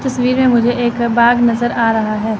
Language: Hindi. तस्वीर में मुझे एक बाग नजर आ रहा है।